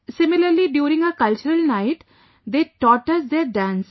Similarly, during our Cultural Nite they taught us their dance